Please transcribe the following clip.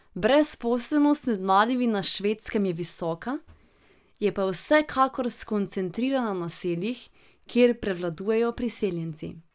Brezposelnost med mladimi na Švedskem je visoka, je pa vsekakor skoncentrirana v naseljih, kjer prevladujejo priseljenci.